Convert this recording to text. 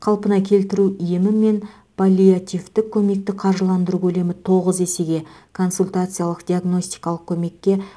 қалпына келтіру емі мен паллиативтік көмекті қаржыландыру көлемі тоғыз есеге консультациялық диагностикалық көмекке